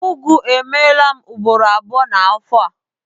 Ngwọ emeela m ugboro abụọ n'afọ a.